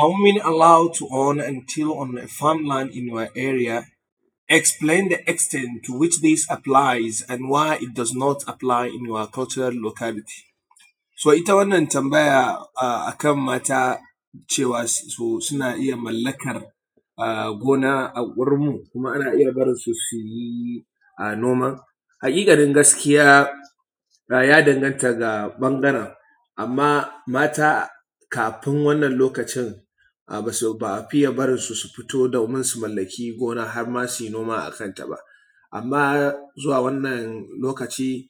Are women allowed to own or maintain a farmland in your area? Explain the extent to which this applies and why it does not apply in your cultural locality. So ita wannan tambaya akan mata cewa suna iya mallakar gona a unguwar mu kuma ana iya barin su suyi noman? Haƙiƙanin gaskiya, ya danganta da ɓangaren amma mata kafin wannan lokacin ba a fiye barin su su fito su mallaki gona, har ma suyi noma akan ta ba. Amma zuwa wannan lokaci,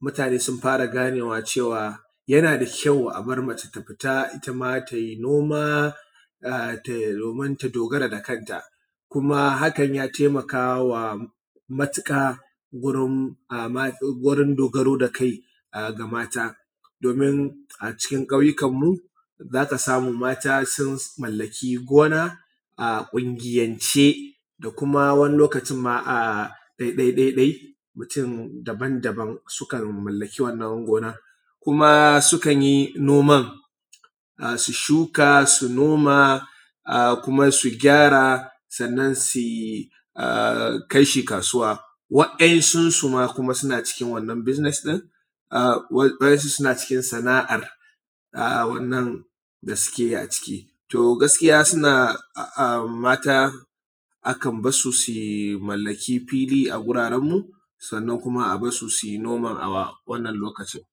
mutane sun fara ganewa cewa yana da kyau a bar mace ta fita, itama tayi noma domin ta dogara da kanta kuma hakan ya taimakawa matuƙa gurin dogaro da kai ga mata, domin acikin ƙauyukan mu, zaka samu mata sun mallaki gona a ƙungiyance da kuma wani lokacin ma a ɗai-ɗai ɗai-ɗai, mutum daban-daban sukan mallaki wannan gonar, kuma sukan yi noman su shuka su noma kuma su gyara sannan su kai shi kasuwa. Waɗannan sun su ma suna cikin wannan business ɗin, wasu suna cikin sana’ar, a wannan da suke yi a ciki, to gaskiya suna mata akan bar su su mallaki fili a guraren mu sannan kuma a bar su suyi noma a locality namu.